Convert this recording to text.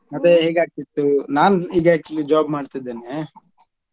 ಮತ್ತೆ ಹೇಗ್ ಆಗ್ತಿತ್ತು ನಾನ್ ಈಗ actually job ಮಾಡ್ತಿದ್ದೇನೆ.